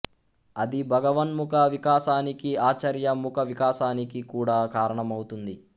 అది భగవన్ముఖ వికాసానికి ఆచార్య ముఖ వికాసానికి కూడా కారణమౌతుంది